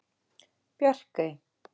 Bjarkey